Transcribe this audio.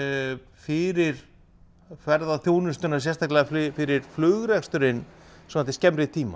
fyrir ferðaþjónustuna sérstaklega fyrir flugreksturinn svona til skemmri tíma